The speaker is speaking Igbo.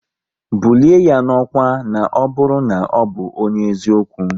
Bulie ya n'ọkwá na ọ bụrụ na ọbụ onye eziokwu!